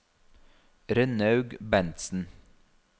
Rønnaug Bentsen